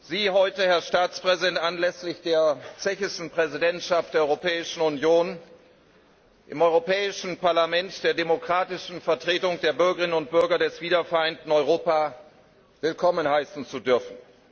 Sie heute, Herr Staatspräsident, anlässlich der tschechischen Präsidentschaft der Europäischen Union im Europäischen Parlament, der demokratischen Vertretung der Bürgerinnen und Bürger des wiedervereinten Europa, willkommen heißen zu dürfen.